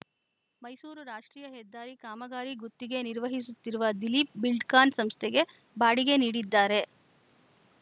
ಮೈಸೂರು ರಾಷ್ಟ್ರೀಯ ಹೆದ್ದಾರಿ ಕಾಮಗಾರಿ ಗುತ್ತಿಗೆ ನಿರ್ವಹಿಸುತ್ತಿರುವ ದಿಲೀಪ್‌ ಬಿಲ್ಡ್‌ ಕಾನ್‌ ಸಂಸ್ಥೆಗೆ ಬಾಡಿಗೆ ನೀಡಿದ್ದಾರೆ